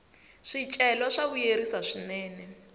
swicelwa swa vuyerisa swinene